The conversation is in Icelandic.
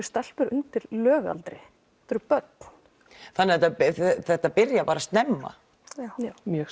stelpur undir lögaldri þetta eru börn þetta þetta byrjar bara snemma já mjög